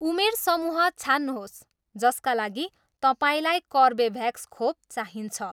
उमेर समूह छान्नुहोस् जसका लागि तपाईँँलाई कर्बेभ्याक्स खोप चाहिन्छ।